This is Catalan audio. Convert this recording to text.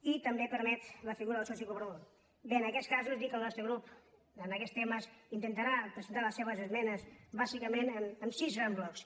i també permet la figura del soci col·bé en aquests casos dir que el nostre grup en aquests temes intentarà presentar les seves esmenes bàsicament en sis grans blocs